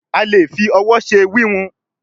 a lẹ fí òwò ṣe wiwun.